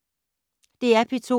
DR P2